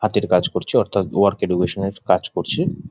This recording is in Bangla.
হাতের কাজ করছি অর্থ্যাৎ ওয়ার্ক এডুকেশনের কাজ করছি।